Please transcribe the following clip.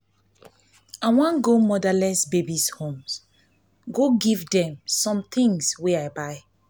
i wan go motherless babies' home go give dem some things wey i buy